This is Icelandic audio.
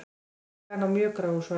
Tillagan á mjög gráu svæði